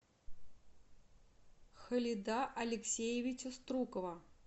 халида алексеевича струкова